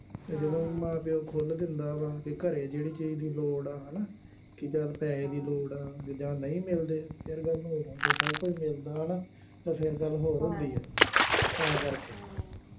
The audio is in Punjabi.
ਅਤੇ ਜਦੋਂ ਮਾਂ ਪਿਉ ਖੁੱਲ੍ਹ ਦਿੰਦਾ ਵਾ, ਕਿ ਘਰੇ ਜਿਹੜੀ ਚੀਜ਼ ਦੀ ਲੋੜ ਆ, ਹੈ ਨਾ, ਕਿ ਚੱਲ ਪੈਸੇ ਦੀ ਲੋੜ ਆ, ਜਾਂ ਨਹੀਂ ਮਿਲਦੇ, ਫੇਰ ਗੱਲ ਹੋਰ ਹੁੰਦੀ ਆ, ਸਭ ਕੁੱਝ ਮਿਲਦਾ ਹੈ ਨਾ, ਤਾਂ ਫੇਰ ਗੱਲ ਹੋਰ ਹੁੰਦੀ ਹੈ, ਤਾਂ ਕਰਕੇ